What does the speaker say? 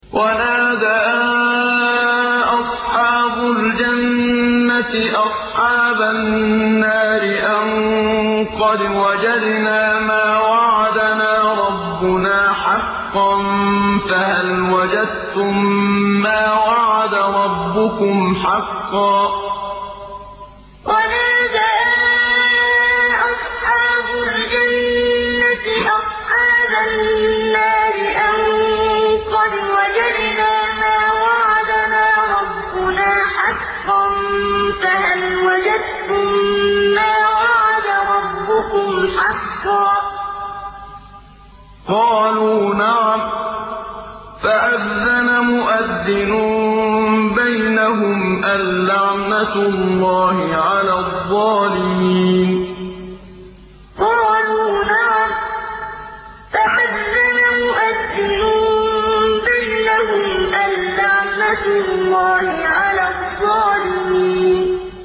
وَنَادَىٰ أَصْحَابُ الْجَنَّةِ أَصْحَابَ النَّارِ أَن قَدْ وَجَدْنَا مَا وَعَدَنَا رَبُّنَا حَقًّا فَهَلْ وَجَدتُّم مَّا وَعَدَ رَبُّكُمْ حَقًّا ۖ قَالُوا نَعَمْ ۚ فَأَذَّنَ مُؤَذِّنٌ بَيْنَهُمْ أَن لَّعْنَةُ اللَّهِ عَلَى الظَّالِمِينَ وَنَادَىٰ أَصْحَابُ الْجَنَّةِ أَصْحَابَ النَّارِ أَن قَدْ وَجَدْنَا مَا وَعَدَنَا رَبُّنَا حَقًّا فَهَلْ وَجَدتُّم مَّا وَعَدَ رَبُّكُمْ حَقًّا ۖ قَالُوا نَعَمْ ۚ فَأَذَّنَ مُؤَذِّنٌ بَيْنَهُمْ أَن لَّعْنَةُ اللَّهِ عَلَى الظَّالِمِينَ